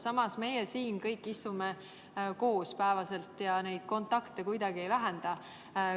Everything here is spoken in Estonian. Samas, meie istume siin iga päev kõik koos ja kontakte kuidagi ei vähenda.